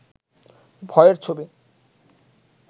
ভয়ের ছবি